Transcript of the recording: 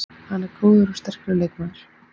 Hann er góður og sterkur leikmaður.